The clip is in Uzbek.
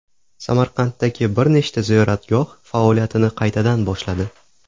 Samarqanddagi bir nechta ziyoratgoh faoliyatini qaytadan boshladi.